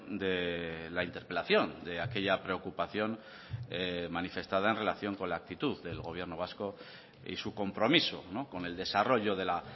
de la interpelación de aquella preocupación manifestada en relación con la actitud del gobierno vasco y su compromiso con el desarrollo de la